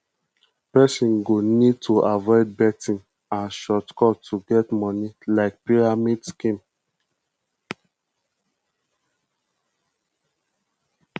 person go need to avoid betting and short cut to get money like pyramid scheme